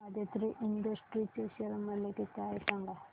Aditri Industries चे share मूल्य किती आहे सांगा